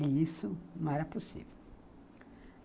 E isso não era possível.